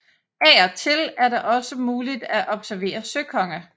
Af og til er det også muligt at observere søkonge